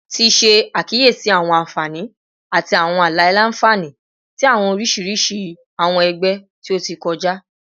Ti ṣe akiyesi awọn anfani ati awọn alailanfani ti awọn oriṣiriṣi awọn ẹgbẹ ti o ti kọja